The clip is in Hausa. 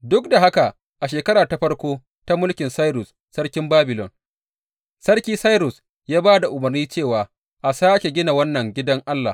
Duk da haka, a shekara ta farko ta mulkin Sairus sarkin Babilon, Sarki Sairus ya ba da umarni cewa a sāke gina wannan gidan Allah.